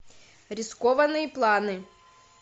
рискованные планы